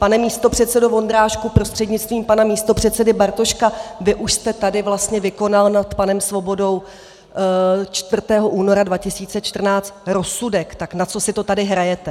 Pane místopředsedo Vondráčku prostřednictvím pana místopředsedy Bartoška, vy už jste tady vlastně vykonal nad panem Svobodou 4. února 2014 rozsudek, tak na co si to tady hrajete?